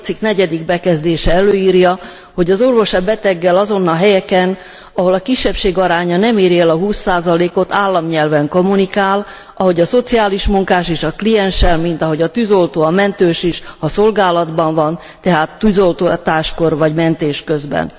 8. cikk bekezdése előírja, hogy az orvos a beteggel azon a helyeken, ahol a kisebbség aránya nem éri el a 20 ot, államnyelven kommunikáljon, ahogy a szociális munkás is a klienssel, mint ahogy a tűzoltó, a mentős is, ha szolgálatban van, tehát tűzoltáskor vagy mentés közben.